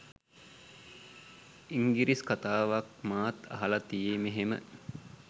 ඉංගිරිස් කතාවක් මාත් අහලා තියේ මෙහෙම